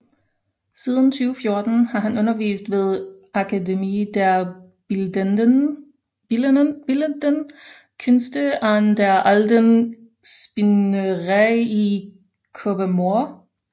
Siden 2014 har han undervist ved Akademie der Bildenden Künste an der Alten Spinnerei i Kolbermoor